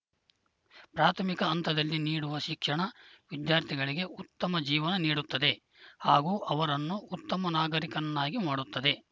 ಪ್ರಾಥಮಿಕ ಹಂತದಲ್ಲಿ ನೀಡುವ ಶಿಕ್ಷಣ ವಿದ್ಯಾರ್ಥಿಗಳಿಗೆ ಉತ್ತಮ ಜೀವನ ನೀಡುತ್ತದೆ ಹಾಗೂ ಅವರನ್ನು ಉತ್ತಮ ನಾಗರಿಕನ್ನಾಗಿ ಮಾಡುತ್ತದೆ